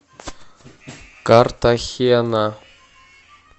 картахена